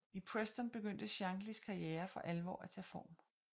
I Preston begyndte Shanklys karriere for alvor at tage form